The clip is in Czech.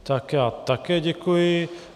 Tak já také děkuji.